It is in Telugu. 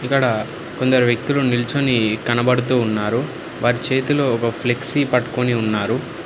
ఇక్కడ కొందరు వ్యక్తులు నిల్చొని కనపడుతూ ఉన్నారు వారి చేతిలో ఒక ఫ్లెక్సీ పట్టుకొని ఉన్నారు.